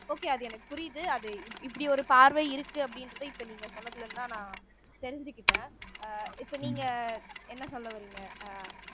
okay அது எனக்கு புரியுது அது இப்படி ஒரு பார்வை இருக்கு அப்படின்றதை இப்ப நீங்க சொன்னதுல இருந்துதான் நான் தெரிஞ்சுக்கிட்டேன் அஹ் இப்ப நீங்க என்ன சொல்ல வர்றீங்க அஹ்